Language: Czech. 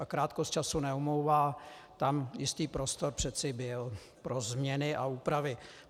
A krátkost času neomlouvá, tam jistý prostor přeci byl pro změny a úpravy.